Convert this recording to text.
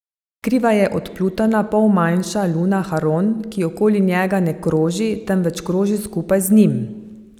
Kriva je od Plutona pol manjša luna Haron, ki okoli njega ne kroži, temveč kroži skupaj njim.